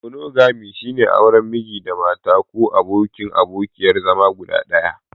Monogami, shine auren Miji/Mata ko abokin/abokiyar zama guda ɗaya.